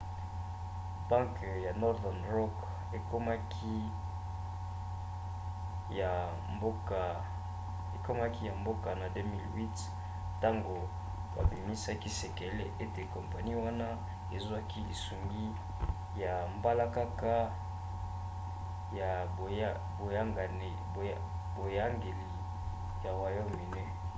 banke ya northern rock ekomaki ya mboka na 2008 ntango babimisaki sekele ete kompani wana ezwaki lisungi ya mbalakaka ya boyangeli ya royaume-uni